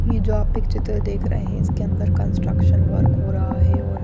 ये जो आप पिक चित्र देख रहे हैं इसके अंदर कंस्ट्रक्शन वर्क हो रहा है और--